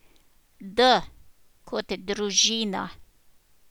D kot Družina.